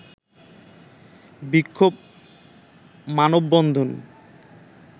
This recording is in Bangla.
বিক্ষোভ ও মানববন্ধন